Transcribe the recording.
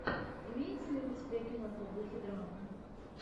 имеется ли у тебя киноха в духе драмы